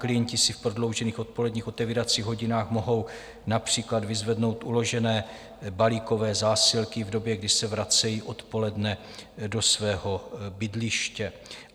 Klienti si v prodloužených odpoledních otevíracích hodinách mohou například vyzvednout uložené balíkové zásilky v době, kdy se vracejí odpoledne do svého bydliště.